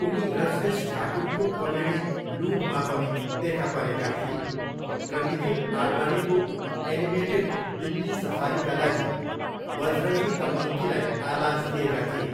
उनी रजनीश ठाकुरको कमेडी लुटमा पनि देखा परेका थिए र निखिल आडवाणीको एनिमेटेड दिल्ली सफारीका लागि बजरङ्गी द मङ्कीलाई आवाज दिएका थिए।